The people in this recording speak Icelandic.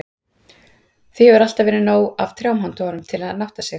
Því hefur alltaf verið nóg af trjám handa honum, til að nátta sig í.